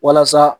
Walasa